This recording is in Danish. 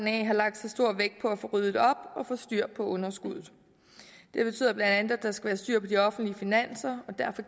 har lagt så stor vægt på at få ryddet op og få styr på underskuddet det betyder bla at der skal være styr på de offentlige finanser og derfor